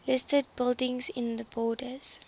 listed buildings in the borders